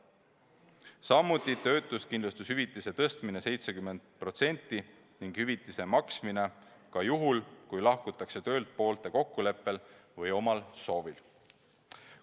Samuti on ettepanek töötuskindlustushüvitist tõsta 70%-ni palgast ning hüvitist maksta ka juhul, kui lahkutakse töölt poolte kokkuleppel või omal soovil.